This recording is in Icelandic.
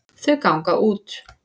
Þau ganga út.